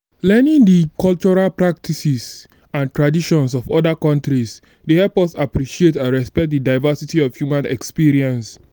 learning di cultural practices and traditions of oda countries dey help us appreciate and respect di diversity of human experience.